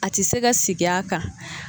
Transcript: A te se ka sig'a kan